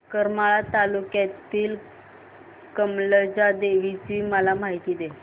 करमाळा तालुक्यातील कमलजा देवीची मला माहिती दे